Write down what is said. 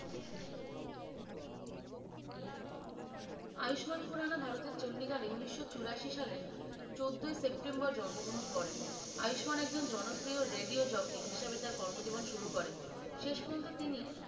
আয়ুষ্মান খুরানা ভারতের চন্ডিগড়ে এ উনিশছুরাসি সালে চৈদই সেপ্তেম্বের এ জন্ম গ্রহন করেন আয়ুষ্মান একজন জনপ্রিয় radio jocky হিসেবে তার কর্ম জীবন শুরু করেন শেষ পর্যন্ত তিনি